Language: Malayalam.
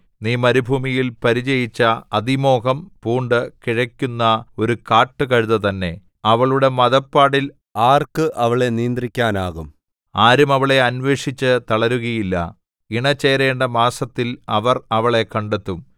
നീ മരുഭൂമിയിൽ പരിചയിച്ച അതിമോഹം പൂണ്ട് കിഴയ്ക്കുന്ന ഒരു കാട്ടുകഴുത തന്നെ അവളുടെ മദപ്പാടിൽ ആർക്ക് അവളെ നിയന്ത്രിക്കാനാകും ആരും അവളെ അന്വേഷിച്ചു തളരുകയില്ല ഇണ ചേരേണ്ട മാസത്തിൽ അവർ അവളെ കണ്ടെത്തും